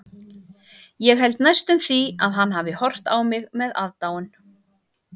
Ég held næstum því að hann hafi horft á mig með aðdáun.